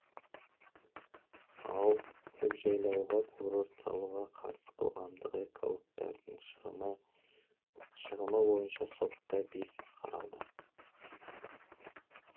ал көкжайлауға курорт салуға қарсы қоғамдық экологтардың шығымы бойынша сотта бес іс қаралды